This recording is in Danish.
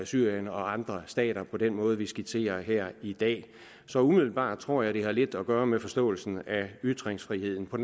syrien og andre stater på den måde vi skitserer her i dag så umiddelbart tror jeg det har lidt at gøre med forståelsen af ytringsfriheden på